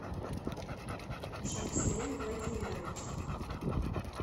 шахселем владимирович